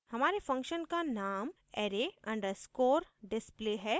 हमारे function का name array _ underscore display है